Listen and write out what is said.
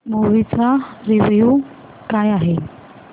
movie चा review काय आहे